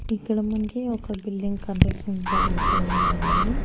ఇక్కడ మనకి ఒక బిల్డింగ్ కంట్రషన్ జరుగుతూ ఉండండి.